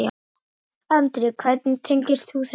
Andri: Hvernig tengist þú þessu?